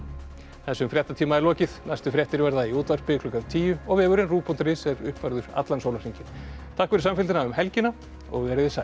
þessum fréttatíma er lokið næstu fréttir verða í útvarpi klukkan tíu og vefurinn rúv punktur is er uppfærður allan sólarhringinn takk fyrir samfylgdina um helgina verið þið sæl